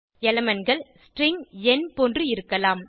Elementகள் string எண் போன்று இருக்கலாம்